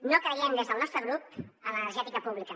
no creiem des del nostre grup en l’energètica pública